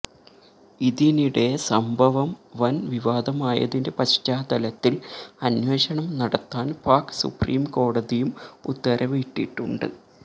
ഇതിനിടെ സംഭവം വന് വിവാദമായതിന്റെ പശ്ചാത്തലത്തില് അന്വേഷണം നടത്താന് പാക് സുപ്രീം കോടതിയും ഉത്തരവിട്ടിട്ടുണ്ട്